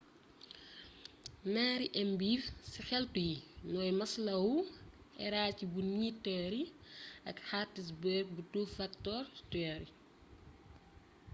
ñaari ëmbeef ci xeltu yi ñooy maslow's hierarchy bu needs theory ak hertzberg bu two factor theory